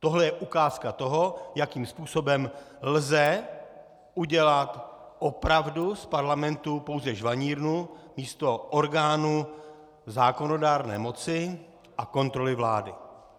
Tohle je ukázka toho, jakým způsobem lze udělat opravdu z parlamentu pouze žvanírnu místo orgánu zákonodárné moci a kontroly vlády.